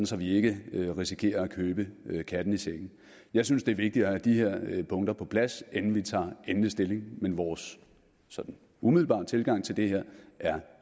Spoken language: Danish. så vi ikke risikerer at købe katten i sækken jeg synes det er vigtigt at have de her punkter på plads inden vi tager endelig stilling men vores sådan umiddelbare tilgang til det her er